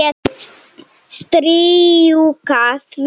Strjúka því.